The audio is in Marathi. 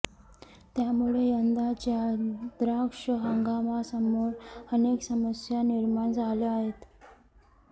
त्यामुळे यंदाच्या द्राक्ष हंगामासमोर अनेक समस्या निर्माण झाल्या आहेत